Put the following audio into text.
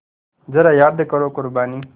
ज़रा याद करो क़ुरबानी